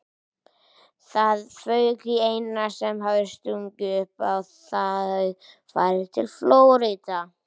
Það fauk í Einar sem hafði stungið upp á að þau færu til Flórída.